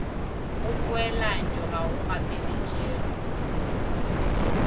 go poelanyo ga go gapeletšege